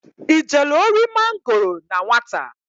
I jelu ori mangoro na nwata?